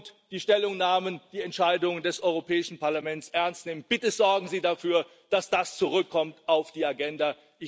Und die Stellungnahmen, die die Entscheidungen des Europäischen Parlaments ernst nehmen Bitte sorgen Sie dafür, dass das zurückkommt auf die Agenda.